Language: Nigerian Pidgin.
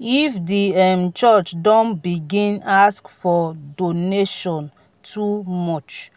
if di um church don begin ask for donation too much